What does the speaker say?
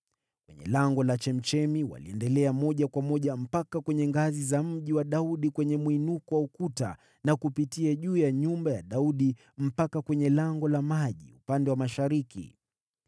Kwenye Lango la Chemchemi waliendelea moja kwa moja mpaka kwenye ngazi za Mji wa Daudi, kwenye mwinuko wa ukuta, na kupitia juu ya nyumba ya Daudi mpaka kwenye Lango la Maji upande wa mashariki.